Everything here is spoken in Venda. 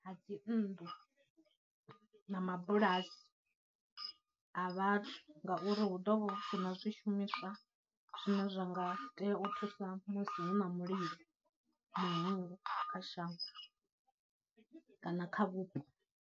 Ha dzinnḓu na mabulasi a vhathu ngauri hu ḓovha hu sina zwishumiswa zwine zwa nga tea u thusa musi hu na mulilo muhulu kha shango kana kha vhupo.